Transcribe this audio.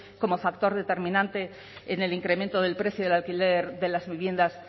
como factor determinante en el incremento del precio del alquiler de las viviendas